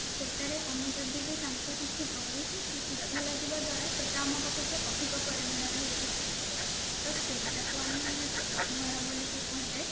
ସେଠାରେ ଆମେ ଯଦି ବି ଆମେ ତାଙ୍କୁ କିଛି ଦଉଛୁ ସେ ସୁଧରେ ଥିବା ଦ୍ଵାରା ସେଟା ଆମ ପାଖକୁ ଅଧିକ ପରିମାଣ ରେ ହେଇକି ଯାଇଥାଏ ତ ସେଇଟାକୁ ଆମେ ସୁଧହାର ବୋଲି କି କୁହାଯାଏ